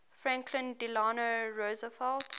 franklin delano roosevelt